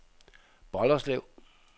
Bolderslev